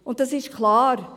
Und es ist klar: